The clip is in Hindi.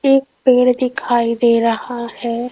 एक पेड़ दिखाई दे रहा है।